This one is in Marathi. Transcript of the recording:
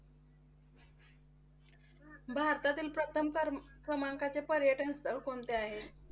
भारतातील प्रथम क्रमांकाचे पर्यटनस्थळ कोणते आहे?